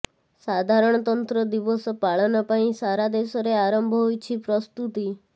ସାଧାରଣତନ୍ତ୍ର ଦିବସ ପାଳନ ପାଇଁ ସାରା ଦେଶରେ ଆରମ୍ଭ ହୋଇଛି ପ୍ରସ୍ତୁତି